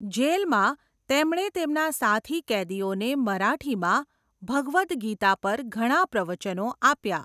જેલમાં, તેમણે તેમના સાથી કેદીઓને મરાઠીમાં ભગવદ ગીતા પર ઘણા પ્રવચનો આપ્યા.